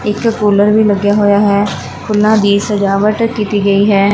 ਇਕ ਕੂਲਰ ਵੀ ਲੱਗਿਆ ਹੋਇਆ ਹੈ ਫੁੱਲਾਂ ਦੀ ਸਜਾਵਟ ਕੀਤੀ ਗਈ ਹੈ।